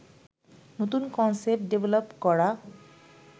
নতুন concept develop করা